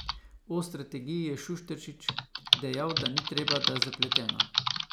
O strategiji je Šušteršič dejal, da ni treba, da je zapletena.